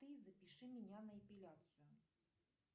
ты запиши меня на эпиляцию